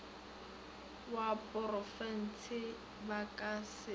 wa porofense ba ka se